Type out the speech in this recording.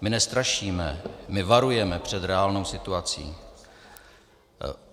My nestrašíme, my varujeme před reálnou situací.